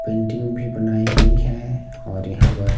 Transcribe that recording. Painting भी बनाई गई है और यहां पर।